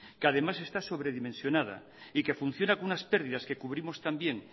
que además está sobredimensionada y que funciona con unas pérdidas que cubrimos también